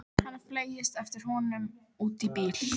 Hann fleygist eftir honum út í bíl.